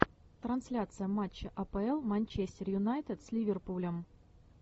трансляция матча апл манчестер юнайтед с ливерпулем